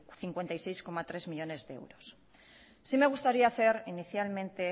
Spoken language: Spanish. cincuenta y seis coma tres millónes de euros sí me gustaría hacer inicialmente